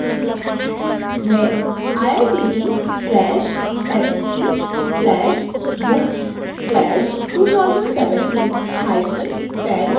मैं iitb/st/books/201710 जोड़ूँगी